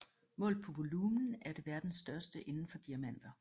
Målt på volumen er det verdens største indenfor diamanter